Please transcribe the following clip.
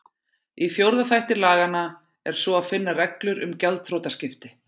Í fjórða þætti laganna er svo að finna reglur um gjaldþrotaskipti.